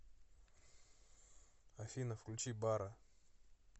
афина включи барра